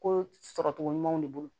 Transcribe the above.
Ko sɔrɔ cogo ɲumanw de bolo